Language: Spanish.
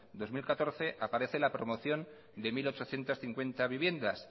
dos mil catorce aparece la promoción de mil ochocientos cincuenta viviendas